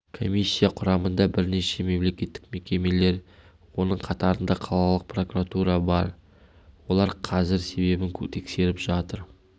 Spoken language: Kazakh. комиссия құрамында бірнеше мемлекеттік мекемелер оның қатарында қалалық прокуратура да бар олар қазір себебін тексеріп жатыр